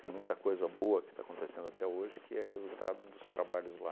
Tem muita coisa boa que está acontecendo até hoje que é resultado dos trabalhos lá.